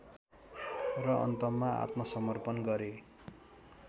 र अन्तमा आत्मसर्मपण गरे